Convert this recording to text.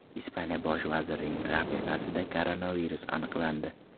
Ispaniya bosh vazirining rafiqasida koronavirus aniqlandi.